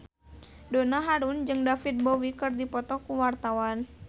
Donna Harun jeung David Bowie keur dipoto ku wartawan